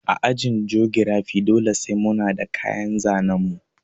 A ajin jogirafi dole sai muna da kayan zanen mu